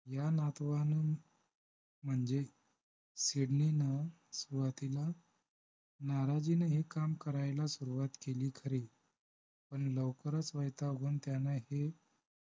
या नातवानं म्हणजे सिडनीनं सुरुवातीला नाराजीनं हे काम करायला सुरुवात केली खरी पण लवकरच वैतागून त्यानं हे